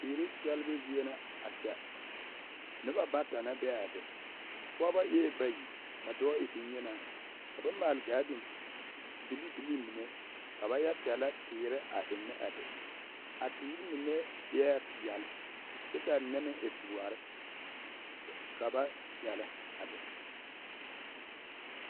Teeri sɛlebu zie na a kyɛ noba bata na be a be pɔɡebɔ eɛɛ bayi ka dɔɔ e bonyenaa ka ba maake ɡaaden biliibilii mine ka ba yɛ sɛlɛ teere a be a teere mine eɛɛ peɛl kyɛ ka a mine e doɔre ka ba sɛlɛ a be.